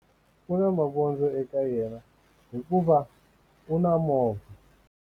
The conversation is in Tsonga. U na mavondzo eka yena hikuva u na movha.